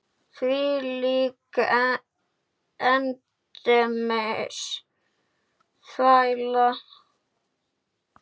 Þvílík endemis þvæla.